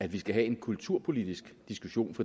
at vi skal have en kulturpolitisk diskussion for